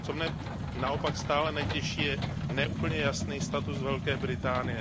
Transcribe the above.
Co mne naopak stále netěší, je ne úplně jasný status Velké Británie.